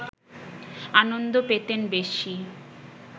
আনন্দ পেতেন বেশি